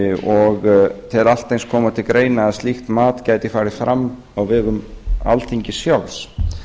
og tel allt eins koma til greina að slíkt mat gæti farið fram á vegum alþingis sjálfs